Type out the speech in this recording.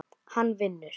Hann vinnur.